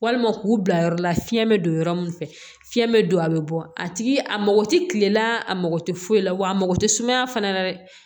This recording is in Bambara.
Walima k'u bila yɔrɔ la fiɲɛ bɛ don yɔrɔ min fɛ fiɲɛ bɛ don a bɛ bɔ a tigi a mɔgɔ tɛ kilela a mako tɛ foyi la wa a mako tɛ sumaya fana na dɛ